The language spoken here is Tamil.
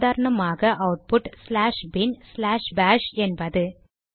சாதரணமாக output slash bin slash bash என்பது